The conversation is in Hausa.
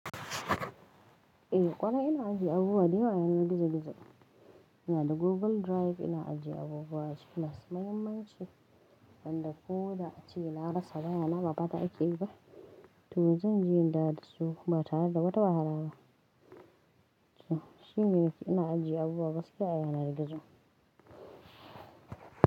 Eh kwana ina ajiye abubuwa da yawa a yanar gizo-gizo. Ina da Google Drive ina ajiye abubuwa a ciki masu muhimmanci, wanda ko da ace na rasa wayana ba fata ake yi ba. To zan je in dawo dasu ba tare da wata wahala ba. Shin yanzu ina ajiye abubuwa gaskiya yanar gizo.